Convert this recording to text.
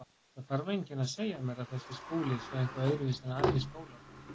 Það þarf enginn að segja mér að þessi skóli sé eitthvað öðruvísi en aðrir skólar.